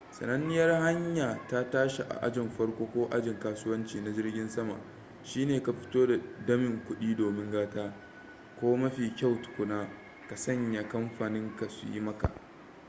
sananniyar hanya ta tashi a ajin farko ko ajin kasuwanci na jirgin sama shine ka fito da damin kudi domin gata ko mafi kyau tukuna ka sanya kamfaninka su yi maka